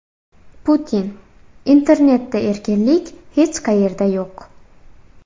Putin: Internetda erkinlik hech qayerda yo‘q.